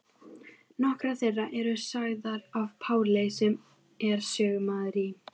Nokkrar þeirra eru sagðar af Páli sem er sögumaður í